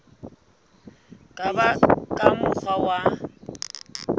ka ba ka mokgwa wa